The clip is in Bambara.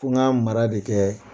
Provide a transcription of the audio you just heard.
Fo n ka mara de kɛ